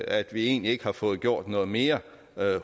at vi egentlig ikke har fået gjort noget mere